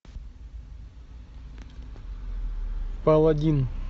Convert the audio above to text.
паладин